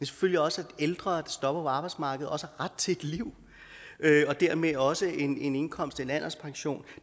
selvfølgelig også at ældre der stopper på arbejdsmarkedet også har ret til et liv og dermed også en indkomst en alderspension